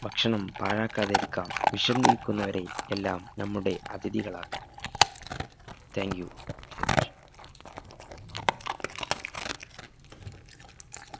ഭക്ഷണം പാഴാക്കാതിരിക്കാം വിശന്നിരിക്കുന്നവരെ എല്ലാം നമ്മുടെ അഥിതികളാക്കാം thank you very much